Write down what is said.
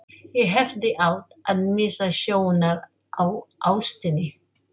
Ég hefði átt að missa sjónar á ástinni.